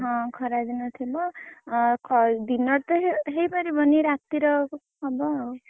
ହଁ ଖରା ଦିନ ଥିବ ଦିନରେ ତ ହେଇପାରିବନି ରାତିର ହବ ଆଉ।